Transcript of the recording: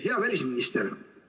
Hea välisminister!